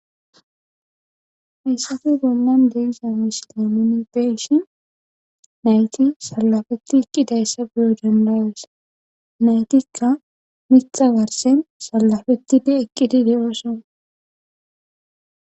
Hayssafe gonnan deegiza misilemoni beshi nayti salafeti eqqidayssa bulo dandawesa naytikka mixa warsen salafetti de eqqidide ooso.